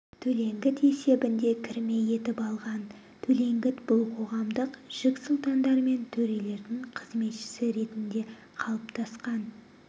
төлеңгіт есебінде кірме етіп алған төлеңгіт бұл қоғамдық жік сұлтандар мен төрелердің қызметшісі ретінде қалыптасқан